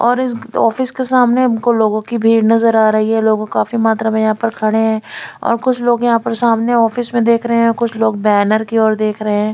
और इस ऑफिस के सामने लोगो की भीड़ नज़र आ रही है लोग काफी मात्रा में यहाँं पे खड़े है और कुछ लोग यहाँं पे सामने ऑफिस में देख रहे है कुछ लोग बैनर की तरफ देख रहे है।